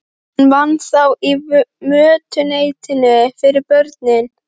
Hún vann þá í mötuneytinu fyrir börnin.